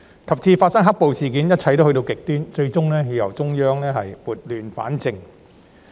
及至發生"黑暴"事件，一切都去到極端，最終要由中央撥亂反正。